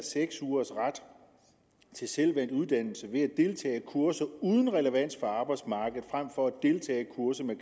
seks ugers selvvalgt uddannelse ved at deltage i kurser uden relevans for arbejdsmarkedet frem for at deltage i kurser med